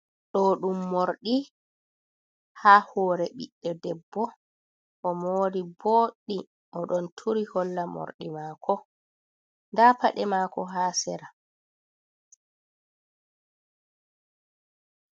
Ɗo ɗum morɗi, ha hore ɓiɗɗe debbo. o mori bodɗi o ɗon turi holla morɗi mako, nda paɗe mako ha sera.